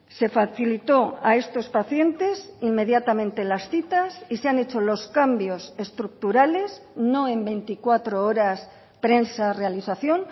se facilitó a estos pacientes inmediatamente las citas y se han hecho los cambios estructurales no en veinticuatro horas prensa realización